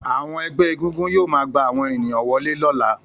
Àwọn ẹgbẹ́ egúngún yóò máa gbà àwọn ènìyàn wọlé lọ́la